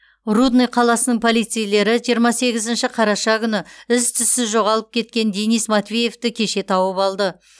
рудный қаласының полицейлері жиырма сегізінші қараша күні із түзсіз жоғалып кеткен денис матвеевті кеше тауып алды